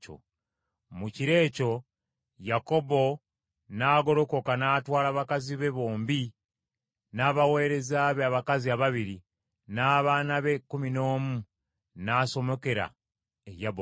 Mu kiro ekyo Yakobo n’agolokoka n’atwala bakazi be bombi, n’abaweereza be abakazi ababiri, n’abaana be ekkumi n’omu n’asomokera e Yaboki.